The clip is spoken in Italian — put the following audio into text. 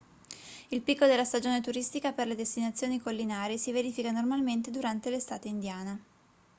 il picco della stagione turistica per le destinazioni collinari si verifica normalmente durante l'estate indiana